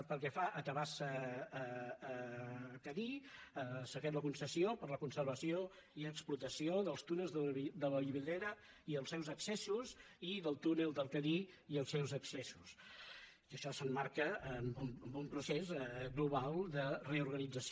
pel que fa a tabasa cadí s’ha fet la concessió per a la conservació i explotació dels túnels de vallvidrera i els seus accessos i del túnel del cadí i els seus accessos i això s’emmarca en un procés global de reorganització